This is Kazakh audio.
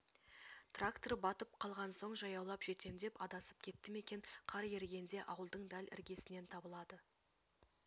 трактор батып қалған соң жаяулап жетем деп адасып кетті ме екен қар ерігенде ауылдың дәл іргесінен табылады